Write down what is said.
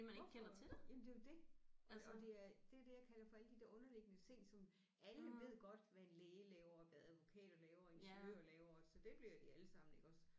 Hvorfor jamen det er jo det. Og og det er det er det jeg kalder for alle de der underliggende ting som alle ved godt hvad en læge laver hvad advokater laver og ingeniører laver så det bliver de alle sammen iggås